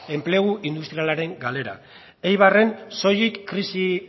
enplegu industrialaren galera eibarren soilik krisi